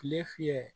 Tile fiyɛ